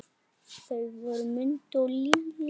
Þau voru Mundi og Lillý.